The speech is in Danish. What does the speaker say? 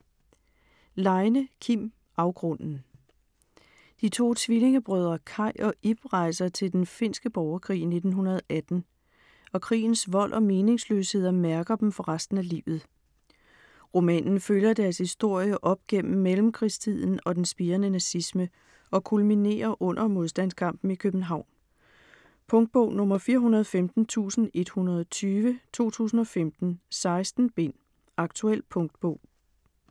Leine, Kim: Afgrunden De to tvillingebrødre Kaj og Ib rejser til den finske borgerkrig i 1918, og krigens vold og meningsløsheder mærker dem for resten af livet. Romanen følger deres historie op gennem mellemkrigstiden og den spirende nazisme og kulminerer under modstandskampen i København. Punktbog 415120 2015. 16 bind. Aktuel punktbog